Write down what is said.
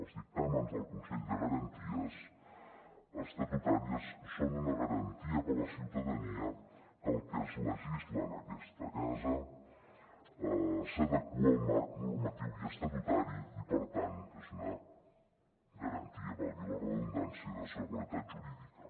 els dictàmens del consell de garanties estatutàries són una garantia per a la ciutadania que el que es legisla en aquesta casa s’adequa al marc normatiu i estatutari i per tant és una garantia valgui la redundància de seguretat jurídica